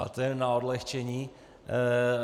Ale to jen na odlehčení.